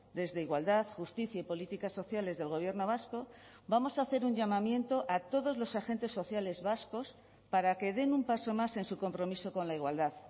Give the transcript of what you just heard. desde igualdad justicia y políticas sociales del gobierno vasco vamos a hacer un llamamiento a todos los agentes sociales vascos para que den un paso más en su compromiso con la igualdad